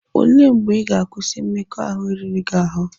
O lee mgbe ị ga-akwụsị inwe mmekọahụ riri gị ahụ?